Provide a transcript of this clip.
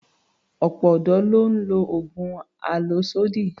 Ọ̀pọ̀ ọ̀dọ́ ló ń lo oògùn àlòsódì